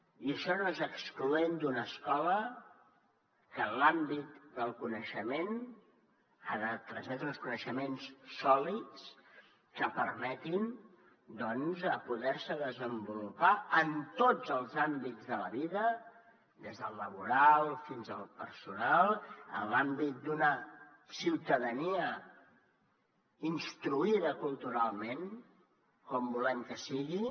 i això no és excloent d’una escola que en l’àmbit del coneixement ha de transmetre uns coneixements sòlids que permetin doncs poder se desenvolupar en tots els àmbits de la vida des del laboral fins al personal en l’àmbit d’una ciutadania instruïda culturalment com volem que sigui